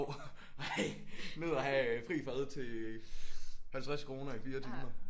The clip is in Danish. Jo ej ned og have fri fad til 50 kroner i 4 timer